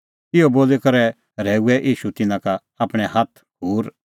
इहअ बोली करै रहैऊऐ ईशू तिन्नां का आपणैं हाथ खूर